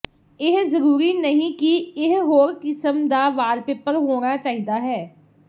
ਇਹ ਜ਼ਰੂਰੀ ਨਹੀਂ ਕਿ ਇਹ ਹੋਰ ਕਿਸਮ ਦਾ ਵਾਲਪੇਪਰ ਹੋਣਾ ਚਾਹੀਦਾ ਹੈ